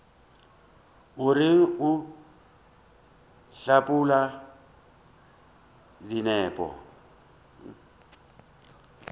o reng o hlapaola dinepo